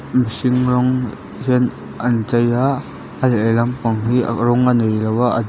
mihring rawng hian a inchei a a lehlampang hi rawng a neilo a a du--